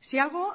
si algo